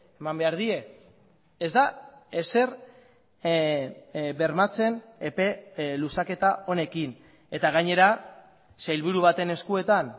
eman behar die ez da ezer bermatzen epe luzaketa honekin eta gainera sailburu baten eskuetan